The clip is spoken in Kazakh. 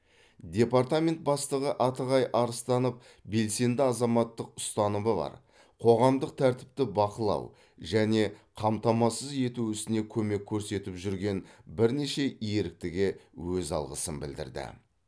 департамент бастығы атығай арыстанов белсенді азаматтық ұстанымы бар қоғамдық тәртіпті бақылау және қамтамасыз ету ісіне көмек көрсетіп жүрген бірнеше еріктіге өз алғысын білдірді